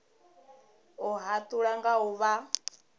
u hatula nga u vha